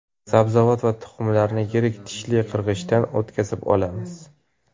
Sabzavot va tuxumlarni yirik tishli qirg‘ichdan o‘tkazib olamiz.